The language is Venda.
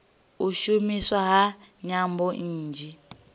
u shumiswa ha nyambo nnzhi